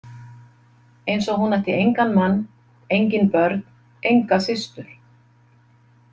Eins og hún ætti engan mann, engin börn, enga systur.